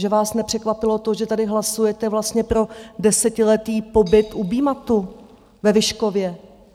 Že vás nepřekvapilo to, že tady hlasujete vlastně pro desetiletý pobyt u BMATTu ve Vyškově?